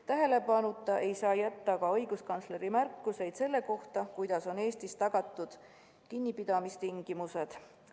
Tähelepanuta ei saa jätta ka õiguskantsleri märkusi selle kohta, millised on Eestis tagatud kinnipidamistingimused.